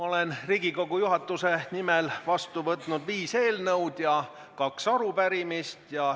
Olen Riigikogu juhatuse nimel vastu võtnud viis eelnõu ja kaks arupärimist.